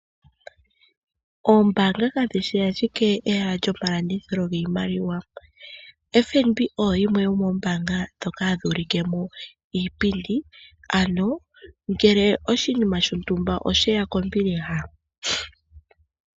Oombanga kalishi ashike ehala lyomapungulilo giimaliwa. FNB oyo yimwe yomoombanga dhoka ulikemo iipindi, ano ngele oshinima shontumba osheya kombiliha.